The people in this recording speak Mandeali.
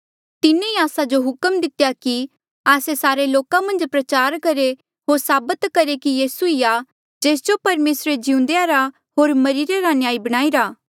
तिन्हें ई आस्सा जो हुक्म दितेया कि आस्से सारे लोका मन्झ प्रचार करहे होर साबत करहे कि यीसू ही आ जेस जो परमेसरा रे जीउन्देआ रा होर मरिरे रा न्यायी बणाईरा